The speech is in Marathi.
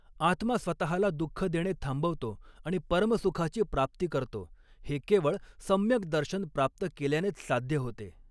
आत्मा स्वतःला दुःख देणे थांबवतो आणि परम सुखाची प्राप्ती करतो, हे केवळ सम्यक दर्शन प्राप्त केल्यानेच साध्य होते.